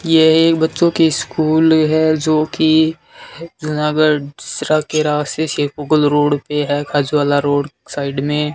यह एक बच्चों की स्कूल है जो कि यहां पर सीसरा के रास्ते शेरगुल रोड पे है खाजूवाला रोड साइड में--